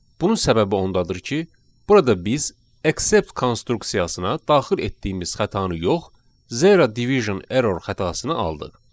Bunun səbəbi ondadır ki, burada biz accept konstruksiyasına daxil etdiyimiz xətanı yox, Zero division error xətasını aldıq.